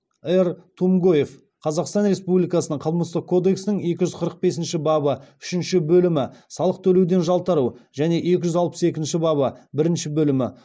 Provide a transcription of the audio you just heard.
р тумгоев қазақстан республикасының қылмыстық кодексінің екі жүз қырық бесінші бабы үшінші бөлімі және екі жүз алпыс екінші бабы бірінші бөлімі